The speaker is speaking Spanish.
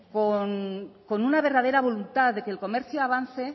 con una verdadera voluntad de que el comercio avance